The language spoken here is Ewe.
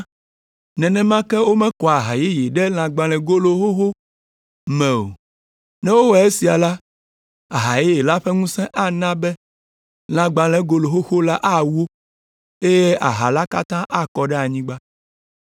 Nenema ke womekɔa aha yeye ɖe lãgbalẽgolo xoxo me o; ne wowɔ esia la, aha yeye la ƒe ŋusẽ ana be lãgbalẽgolo xoxo la awo, eye aha la katã akɔ ɖe anyigba.